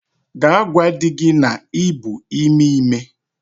Gaa gwa di gi na i bu ime ime!